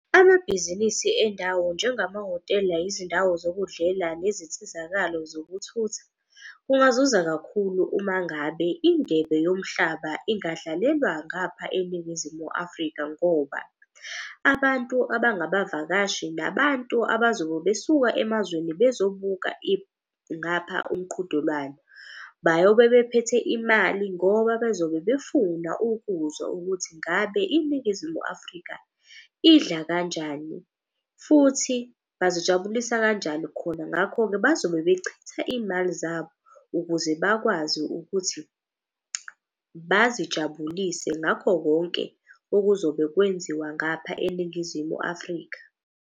Amabhizinisi endawo nje ngamahhotela, izindawo zokudlela, nezinsizakalo zokuthutha. Kungazuza kakhulu uma ngabe indebe yomhlaba ingadlalelwa ngapha eNingizimu Afrika. Ngoba abantu abangabavakashi nabantu abazobe besuka emazweni bezobuka ngapha umqhudelwano. Bayobe bephethe imali ngoba bezobe befuna ukuzwa ukuthi ngabe iNingizimu Afrika idla kanjani futhi bazijabulisa kanjani khona. Ngakho-ke bazobe bechitha iy'mali zabo ukuze bakwazi ukuthi bazijabulise ngakho konke okuzobe kwenziwa ngapha eNingizimu Afrika.